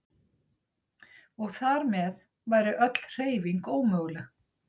Og þar með væri öll hreyfing ómöguleg.